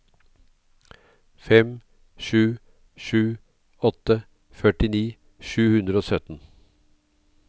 fem sju sju åtte førtini sju hundre og sytten